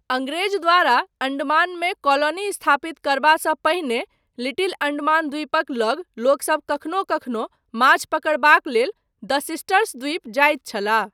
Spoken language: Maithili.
अङ्ग्रेज द्वारा अण्डमानमे कॉलोनी स्थापित करबासँ पहिने लिटिल अण्डमान द्वीपक लग लोकसब कखनो कखनो माछ पकड़बाक लेल द सिस्टर्स द्वीप जाइत छलाह।